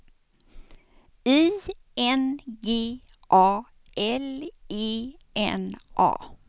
I N G A L E N A